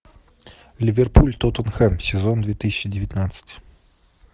ливерпуль тоттенхэм сезон две тысячи девятнадцать